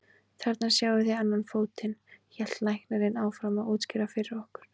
Þarna sjáið þið annan fótinn, hélt læknirinn áfram að útskýra fyrir okkur.